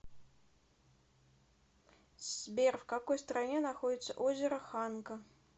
сбер в какой стране находится озеро ханка